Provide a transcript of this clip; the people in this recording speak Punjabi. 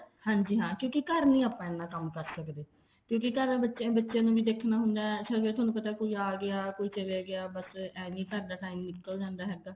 ਹਾਂਜੀ ਹਾਂ ਕਿਉਂਕਿ ਘਰ ਣ ਆਪਾਂ ਇੰਨਾ ਕੰਮ ਕਰ ਸਕਦੇ ਕਿਉਂਕਿ ਘਰ ਬੱਚੇ ਬੱਚਿਆਂ ਨੂੰ ਵੀ ਦੇਖਣਾ ਹੁੰਦਾ ਹੁਣ ਥੋਨੂੰ ਕੋਈ ਆ ਗਿਆ ਕੋਈ ਚਲ ਗਿਆ ਬੱਸ ਏਵੀਂ ਘਰ ਦਾ time ਨਿੱਕਲ ਜਾਂਦਾ ਹੈਗਾ